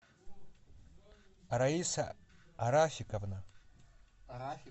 раиса рафиковна